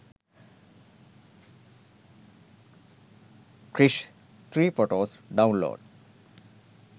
krrish 3 photos download